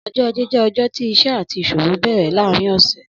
Ọjọ á̀jé jẹ̀ ọjọ ti iṣẹ̀ àtí iṣóòwó bẹrẹ làárin ọsẹ